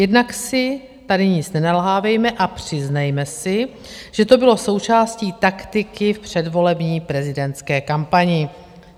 Jednak si tady nic nenalhávejme a přiznejme si, že to bylo součástí taktiky v předvolební prezidentské kampani.